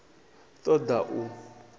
ṱ o ḓ a u